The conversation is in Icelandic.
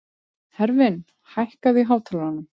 Hervin, hækkaðu í hátalaranum.